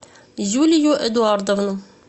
юлию эдуардовну